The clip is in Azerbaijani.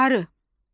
Arı.